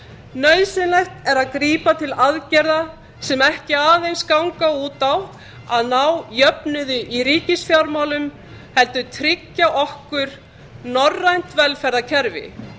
nauðsynlegt er að grípa til aðgerða sem ekki aðeins ganga út á að ná jöfnuði í ríkisfjármálum heldur tryggja okkur norræna velferðarkerfi